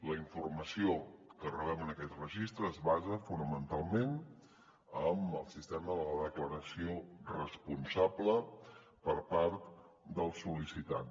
la informació que rebem en aquest registre es basa fonamentalment en el sistema de la declaració responsable per part del sol·licitant